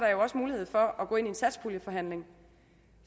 mulighed for at gå ind i en satspuljeforhandling